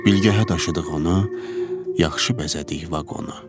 Bilgəhə daşıdığımı yaxşı bəzədik vaqonu.